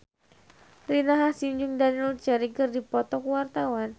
Rina Hasyim jeung Daniel Craig keur dipoto ku wartawan